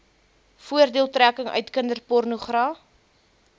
voordeeltrekking uit kinderpornogra